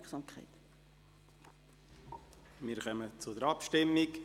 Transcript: Wir kommen zur Abstimmung.